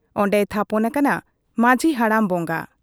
ᱚᱱᱰᱮᱭ ᱛᱷᱟᱯᱚᱱ ᱟᱠᱟᱱᱟ ᱢᱟᱹᱡᱷᱤ ᱦᱟᱲᱟᱢ ᱵᱚᱝᱜᱟ ᱾